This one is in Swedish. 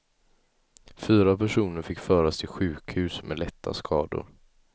Fyra personer fick föras till sjukhus med lätta skador.